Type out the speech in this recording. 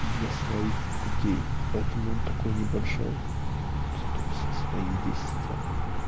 для своих людей поэтому он такой небольшой то все свои здесь сидят